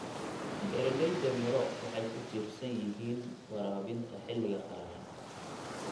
Beeralayda miro waxay ku tiirsan yihiin waraabinta xilliga qalalan.